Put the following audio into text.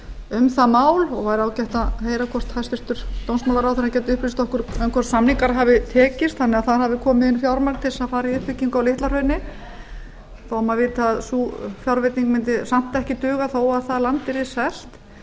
um það mál og væri ágætt að heyra hvort hæstvirtur dómsmálaráðherra getur upplýst okkur um hvort samningar hafi tekist þannig að það komi inn fjármagn til að fara í uppbyggingu á litla hrauni þó maður viti að sú fjárveiting mundi samt ekki duga þó að það land yrði selt það